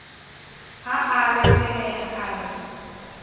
ha a reteleha a re